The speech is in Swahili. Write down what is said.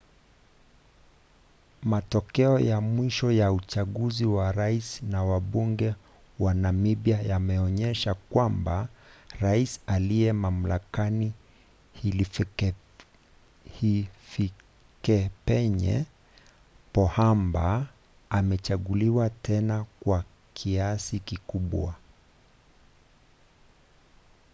matokeo ya mwisho ya uchaguzi wa rais na wabunge wa namibia yameonyesha kwamba rais aliye mamlakani hifikepunye pohamba amechaguliwa tena kwa kiasi kikubwa